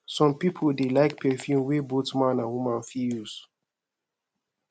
some pipo dey like perfume wey both man and woman fit use